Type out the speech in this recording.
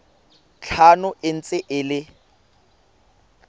tlhano e ntse e le